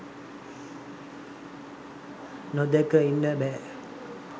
nodaka inna ba